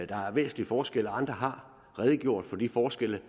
der er væsentlige forskelle og andre har redegjort for de forskelle